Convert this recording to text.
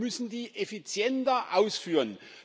Aber wir müssen sie effizienter ausführen.